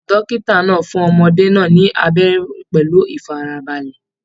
Dókítà náà fún ọmọdé náà ni abẹrẹ pẹlú ifarabalẹ.